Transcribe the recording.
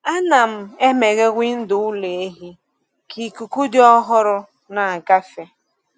A na-emeghe windo ụlọ ehi ka ikuku dị ọhụrụ na-agafe.